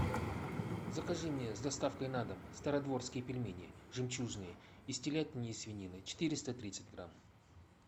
закажи мне с доставкой на дом стародворские пельмени жемчужные из телятины и свинины четыреста тридцать грамм